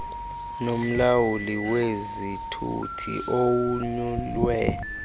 nomlawuli wezithuthi owonyulwe